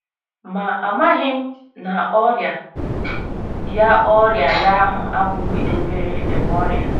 Ma, amaghị m na ọrịa ya ọrịa ya ahụ abụghị obere um ọrịa.